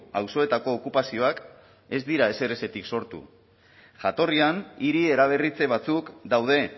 auzoetako okupazioak ez dira ezerezetik sortu jatorrian hiri eraberritze batzuk daude